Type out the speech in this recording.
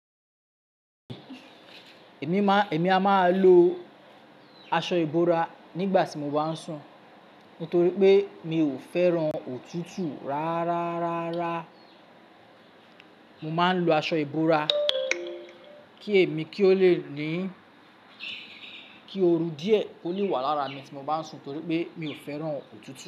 Èmi a máa lo aṣọ ìbora nígbà tí mo bá ń sùn nítorí pé mi ò fẹ́ran òtútù rárá. Mo máa ń lo aṣọ ìbora kí èmi kí ó lè ní kí ooru díẹ̀ kó lè wà lára mi tí mo bá ń sùn nítorí pé mi ò fẹ́ran òtútù.